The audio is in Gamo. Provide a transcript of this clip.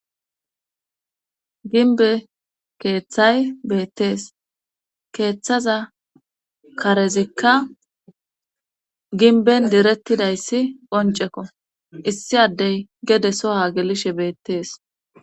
ginbe keeththay beettees keeththaza karezikka ginben direttidayssi qoncekko issi addey gede soha gelishe beettees